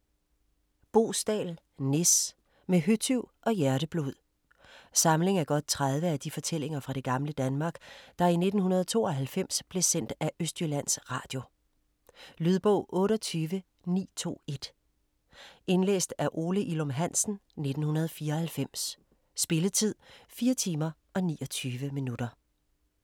Boesdal, Nis: Med høtyv og hjerteblod Samling af godt 30 af de fortællinger fra det gamle Danmark, der i 1992 blev sendt af Østjyllands Radio. Lydbog 28921 Indlæst af Ole Ilum Hansen, 1994. Spilletid: 4 timer, 29 minutter.